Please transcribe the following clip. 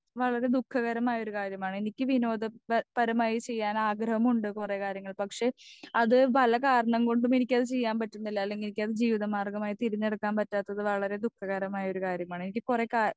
speaker 2 വളരെ ദുഃഖകരമായ ഒരു കാര്യമാണ് എനിക്ക് വിനോദത്തെ പരമായി ചെയ്യാൻ ആഗ്രഹമുണ്ട് കൊറേ കാര്യങ്ങൾ പക്ഷെ അത് പല കാരണം കൊണ്ടും എനിക്കത് ചെയ്യാൻ പറ്റുന്നില്ല അല്ലെങ്കി എനിക്കത് ജീവിതമാർഘമായി തിരഞ്ഞെടുക്കാൻ പറ്റാത്തത് വളരെ ദുഃഖകരമായൊരു കാര്യമാണ് എനിക്ക് കൊറേ കാ